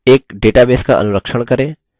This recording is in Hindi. एक database का अनुरक्षण करें